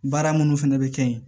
Baara minnu fɛnɛ bɛ kɛ yen